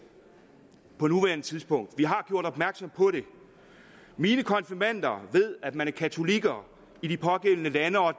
på nuværende tidspunkt vi har gjort opmærksom på det mine konfirmander ved at man er katolik i de pågældende lande og at